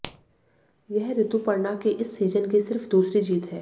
यह रितुपर्णा की इस सीजन की सिर्फ दूसरी जीत है